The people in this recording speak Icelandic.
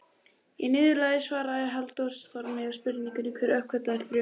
Í niðurlagi svars Halldórs Þormars við spurningunni Hver uppgötvaði frumuna?